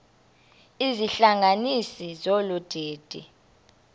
izihlanganisi zolu didi